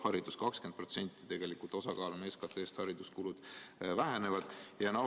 Hariduskulude vähenemise osakaal SKT-s on tegelikult 20%.